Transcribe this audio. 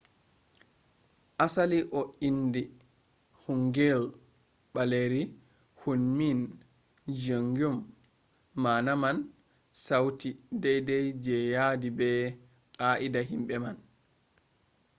asali o indi hangeul baleeri hunmin jeongeum maana man sauti daidai je yaadi be qaa’ida himbe man’’